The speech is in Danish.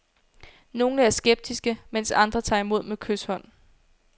Nogle er skeptiske, mens andre tager imod med kyshånd.